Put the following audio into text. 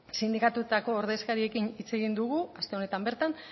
sindikatuetako ordezkariekin hitz egin dugu aste honetan bertan